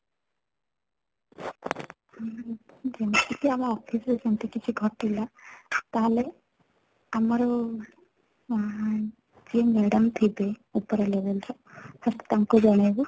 ହୁଁ ଯେମିତି କି ଆମ office ରେ ସେମିତି କିଛି ଘଟିଲା ତାହେଲେ ଆମର ଉଁ ଯିଏ madam ଥିବେ ଉପର level ର first ତାଙ୍କୁ ଜଣେଇବୁ